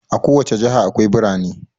A ko wace jiha akwai birane.